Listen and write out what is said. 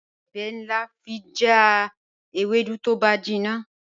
Ijebẹ̀ lán fi jà èwèdú tó bá jínna